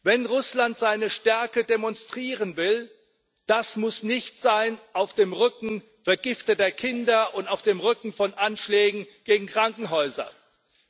Wenn Russland seine Stärke demonstrieren will, muss das nicht auf dem Rücken vergifteter Kinder und auf dem Rücken von Anschlägen gegen Krankenhäuser sein.